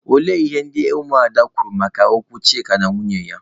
Olee ihe ndị ụmụ ada kwuru maka okwu Chika na nwunye ya?